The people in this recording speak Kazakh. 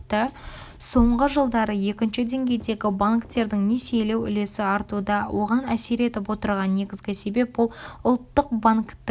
сонғы жылдары екінші деңгейдегі банктердің несиелеу үлесі артуда оған әсер етіп отырған негізгі себеп ол ұлттық банктің